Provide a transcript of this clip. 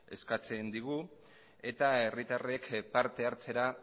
eskatzen digu eta herritarrek parte hartzera